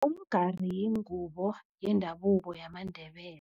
Umgari yingubo yendabuko yamaNdebele.